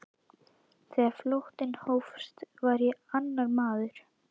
Þegar flóttinn hófst var ég annar maður.